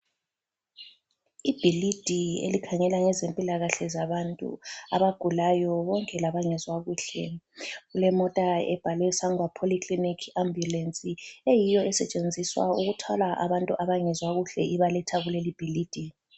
Ibhilidi elikhangela ngezempilakahle zabantu abagulayo konke labangezwa kuhle. Kulemota ebhalwe Sangwa Poly Clinic Ambulance eyiyo esetshenziswa ukuthwala abantu abangezwa kuhle ibaletha kulelibhilidi.